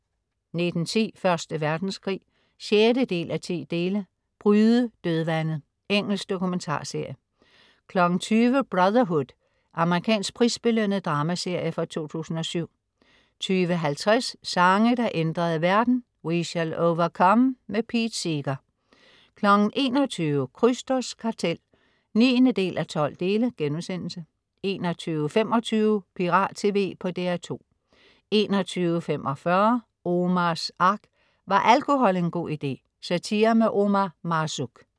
19.10 Første Verdenskrig 6:10. "Bryde dødvandet". Engelsk dokumentarserie 20.00 Brotherhood. Amerikansk prisbelønnet dramaserie fra 2007 20.50 Sange der ændrede verden. We Shall Overcome. Pete Seeger 21.00 Krysters Kartel 9:12* 21.25 Pirat TV på DR2 21.45 Omars Ark. Var alkohol en god idé? Satire med Omar Marzouk